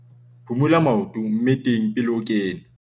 phumula maoto mmeteng pele o kena